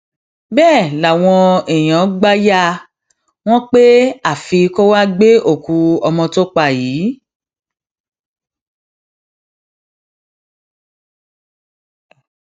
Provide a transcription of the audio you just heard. bẹẹ làwọn èèyàn gbà yà wọn pé àfi kó wàá gbé òkú ọmọ tó pa yìí